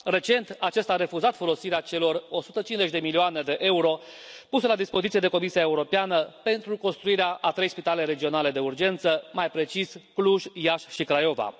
Recent, acesta a refuzat folosirea celor 150 de milioane de euro puse la dispoziție de Comisia Europeană pentru construirea a trei spitale regionale de urgență, mai precis, Cluj, Iași și Craiova.